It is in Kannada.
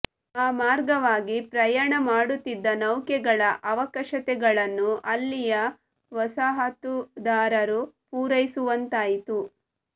ಆ ಮಾರ್ಗವಾಗಿ ಪ್ರಯಾಣ ಮಾಡುತ್ತಿದ್ದ ನೌಕೆಗಳ ಅವಶ್ಯಕತೆಗಳನ್ನು ಅಲ್ಲಿಯ ವಸಾಹತುದಾರರು ಪೂರೈಸುವಂತಾಯಿತು